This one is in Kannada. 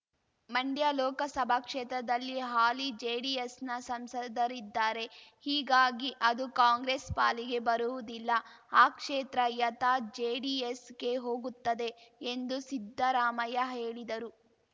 ಮಂಡ್ಯ ಲೋಕಸಭಾ ಕ್ಷೇತ್ರದಲ್ಲಿ ಹಾಲಿ ಜೆಡಿಎಸ್‌ನ ಸಂಸದರಿದ್ದಾರೆ ಹೀಗಾಗಿ ಅದು ಕಾಂಗ್ರೆಸ್ ಪಾಲಿಗೆ ಬರುವುದಿಲ್ಲ ಆ ಕ್ಷೇತ್ರ ಯಥಾ ಜೆಡಿಎಸ್‌ಗೆ ಹೋಗುತ್ತದೆ ಎಂದು ಸಿದ್ಧರಾಮಯ್ಯ ಹೇಳಿದರು